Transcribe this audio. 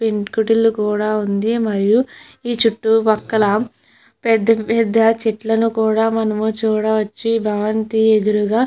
పెంకుటిల్లు కూడా ఉంది. మరియు చుట్టూ పక్కల పెద్ద పెద్ద చెట్లు ను కూడా మనము చూడవచ్చు. ఈ భవంతి ఎదురుగా--